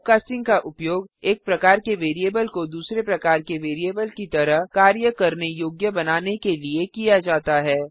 typecasting का उपयोग एक प्रकार के वैरिएबल को दूसरे प्रकार के वैरिएबल की तरह कार्य करने योग्य बनाने के लिए किया जाता है